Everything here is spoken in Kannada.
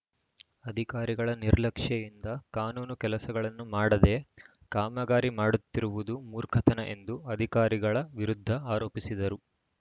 ಅಧಿಕಾರಿಗಳ ನಿರ್ಲಕ್ಷ್ಯೆಯಿಂದ ಕಾನೂನು ಕೆಲಸಗಳನ್ನು ಮಾಡದೇ ಕಾಮಗಾರಿ ಮಾಡುತ್ತಿರುವುದು ಮೂರ್ಖತನ ಎಂದು ಅಧಿಕಾರಿಗಳ ವಿರುದ್ಧ ಆರೋಪಿಸಿದರು